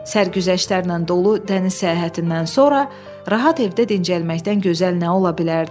Sərgüzəştlərlə dolu dəniz səyahətindən sonra rahat evdə dincəlməkdən gözəl nə ola bilərdi?